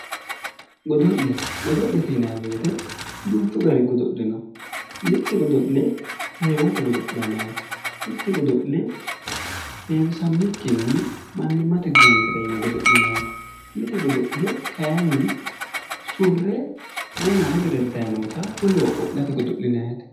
Godo'le godo'lete yinayi woyiite duuchu gari godo'le no mitte godo'le heewote godo'linaayiite? mitte godo'le heewisammikkinni mannimmate guuntera yine godo'linaayiite mite godo'le kaayiinni surre wona wolere heddayi noota wolewa qo'late godo'linayiite.